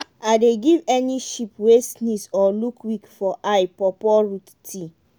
i dey give any sheep wey sneeze or look weak for eye pawpaw root tea.